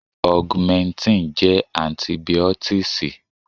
Augmentin jẹ́ Antibìọ́tììsì.